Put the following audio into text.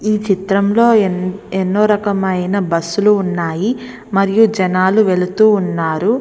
ఈ చిత్రంలో ఎన్నో రకమైన బస్సు లు ఉన్నాయి. మరియు జనాలు వెళుతూ ఉన్నారు.